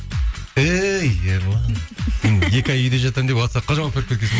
әй ерлан сен екі ай үйде жатамын деп уатсапқа жауап беріп кеткенсің